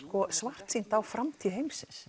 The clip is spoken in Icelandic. svartsýnt á framtíð heimsins